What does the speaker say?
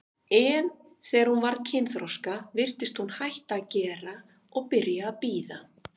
En þegar hún varð kynþroska virtist hún hætta að gera og byrja að bíða.